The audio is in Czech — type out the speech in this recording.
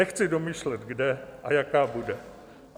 Nechci domýšlet, kde a jaká bude.